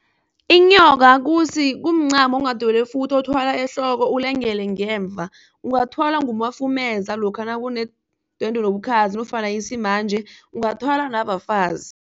Inyoka kumncamo onghadelwefuthi othwalwa ehloko, ulungele ngemva. Ungathwala ngumafumeza lokha nakunedwendwe nobukhazi nofana isimanje ungathwala nabafazi.